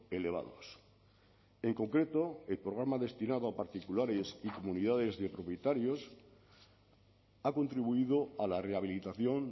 elevados en concreto el programa destinado a particulares y comunidades de propietarios ha contribuido a la rehabilitación